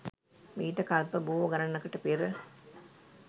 මීට කල්ප බොහෝ ගණනකට පෙර